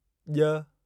ॼ